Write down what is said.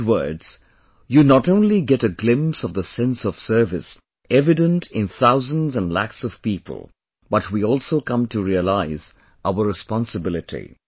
In his words you not only get a glimpse of the sense of service evident in thousands and lakhs of people but we also come to realize our responsibility